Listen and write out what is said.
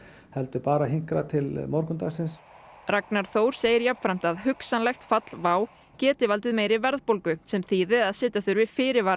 heldur bara hinkra til morgundagsins Ragnar Þór segir jafnframt að hugsanlegt fall WOW geti valdið meiri verðbólgu sem þýði að setja þurfi fyrirvara